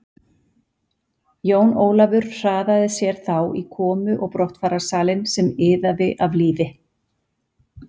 Jón Ólafur hraðaði sér þá í komu og brottfararsalinn sem iðaði af lífi.